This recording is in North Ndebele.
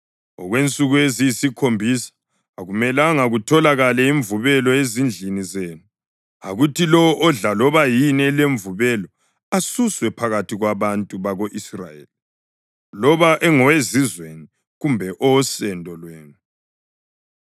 Okwensuku eziyisikhombisa akumelanga kutholakale imvubelo ezindlini zenu. Akuthi lowo odla loba yini elemvubelo asuswe phakathi kwabantu bako-Israyeli, loba engowezizweni kumbe owosendo lwenu.